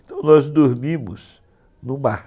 Então nós dormimos no mar.